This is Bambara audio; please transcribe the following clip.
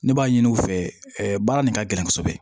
Ne b'a ɲini u fɛ ɛ baara nin ka gɛlɛn kosɛbɛ